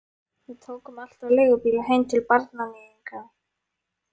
Við tókum alltaf leigubíla heim til barnaníðinganna.